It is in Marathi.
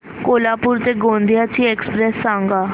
कोल्हापूर ते गोंदिया ची एक्स्प्रेस सांगा